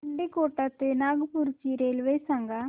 मुंडीकोटा ते नागपूर ची रेल्वे सांगा